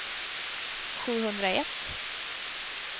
sjuhundraett